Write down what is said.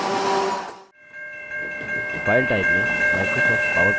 file type में microsoft powerpoint चुनें